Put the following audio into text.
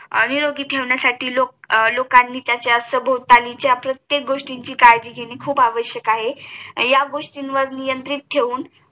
निरोगी ठेवण्यासाठी लोकांनी त्याच्या सभोवतालीच्या प्रत्येक गोष्टीची काळजी घेणे खूप आवश्यकआहे या गोष्टीवर नियंत्रित ठेवून